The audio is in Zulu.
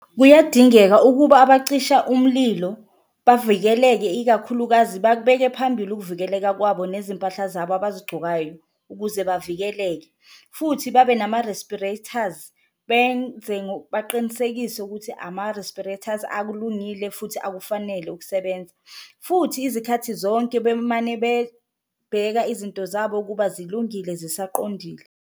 Kuyadingeka ukuba abacisha umlilo bavikeleke ikakhulukazi bakubeke phambili ukuvikeleka kwabo nezimpahla zabo abazigcokayo ukuze bavikeleke, futhi babe nama-rispirators benze baqinisekise ukuthi ama-respirators akulungile futhi akufanele ukusebenza. Futhi izikhathi zonke bemane bebheka izinto zabo ukuba zilungile zisaqondile.